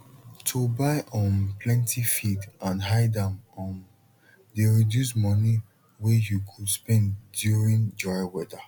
to buy um plenty feed and hide am um dey reduce money wey you go spend during dry weather